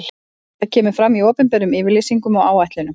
Það kemur fram í opinberum yfirlýsingum og áætlunum.